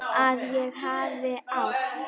Að ég hafi átt.?